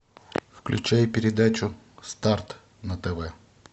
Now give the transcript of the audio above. включай передачу старт на тв